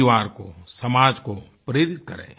परिवार को समाज को प्रेरित करें